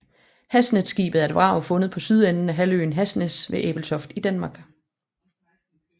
Hasnæsskibet er et vrag fundet på sydenden af halvøen Hasnæs ved Ebeltoft i Danmark